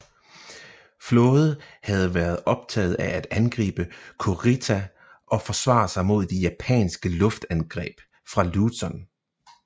Flåde havde været optaget af at angribe Kurita og forsvare sig mod de japanske luftangreb fra Luzon